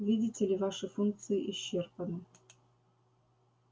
видите ли ваши функции исчерпаны